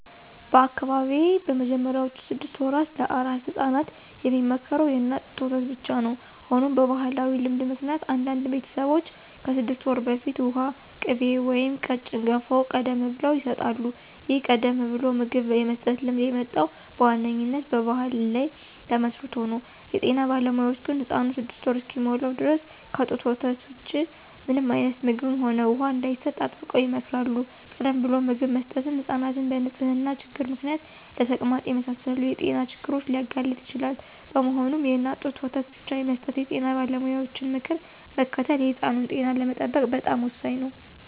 በአካባቢዬ በመጀመሪያዎቹ ስድስት ወራት ለአራስ ሕፃናት የሚመከረው የእናት ጡት ወተት ብቻ ነው። ሆኖም በባሕላዊ ልማድ ምክንያት አንዳንድ ቤተሰቦች ከስድስት ወር በፊት ውሃ፣ ቅቤ ወይም ቀጭን ገንፎ ቀደም ብለው ይሰጣሉ። ይህን ቀደም ብሎ ምግብ የመስጠት ልማድ የመጣው በዋነኛነት በባሕል ላይ ተመስርቶ ነው። የጤና ባለሙያዎች ግን ሕፃኑ ስድስት ወር እስኪሞላው ድረስ ከጡት ወተት ውጪ ምንም አይነት ምግብም ሆነ ውሃ እንዳይሰጥ አጥብቀው ይመክራሉ። ቀደም ብሎ ምግብ መስጠት ሕፃናትን በንጽህና ችግር ምክንያት ለተቅማጥ የመሳሰሉ የጤና ችግሮች ሊያጋልጥ ይችላል። በመሆኑም፣ የእናት ጡት ወተት ብቻ የመስጠት የጤና ባለሙያዎችን ምክር መከተል የሕፃኑን ጤና ለመጠበቅ በጣም ወሳኝ ነው።